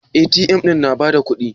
A.T.M ɗin na ba da kuɗi?